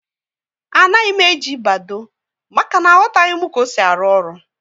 Anaghị m eji Badoo, maka na aghotaghi m ka ọ sị arụ ọrụ